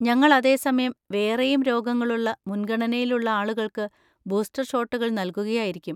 ഞങ്ങൾ അതേസമയം വേറെയും രോഗങ്ങളുള്ള മുൻഗണനയിലുള്ള ആളുകള്‍ക്ക് ബൂസ്റ്റർ ഷോട്ടുകൾ നൽകുകയായിരിക്കും.